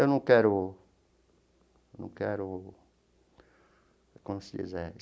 Eu não quero... Eu não quero... Como se diz é?